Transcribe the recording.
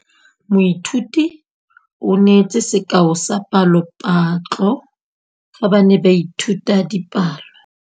Moithuti o neetse sekaô sa palophatlo fa ba ne ba ithuta dipalo.